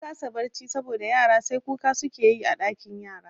Na kasa barci saboda yara sai kuka suke yi a ɗakin yara